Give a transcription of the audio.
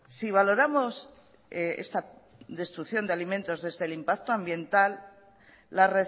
si valoramos esta destrucción de alimentos desde el impacto ambiental la